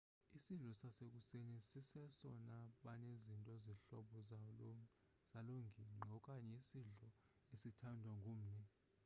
isidlo sasekuseni siseno banezinto zehlobo zalongingqi okanye isidlo esithandwa ngumni